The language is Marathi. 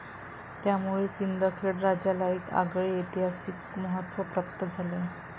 त्यामुळे सिंदखेड राजाला एक आगळे ऐतिहासिक महत्व प्राप्त झाले आहे.